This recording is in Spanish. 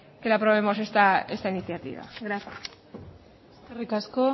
que le aprobemos esta iniciativa gracias eskerrik asko